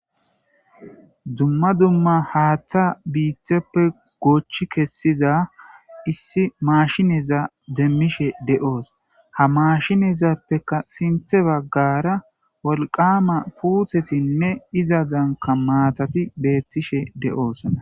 dumma dumma haaththa biitheppe goochchi kessiza issi maashineza demmishe de7oos ha mashinezappeka sinthe baggara wolqama puuthetinne izazanka maatati beettishe de7oosa